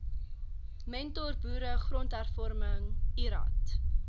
mentorboere grondhervorming lrad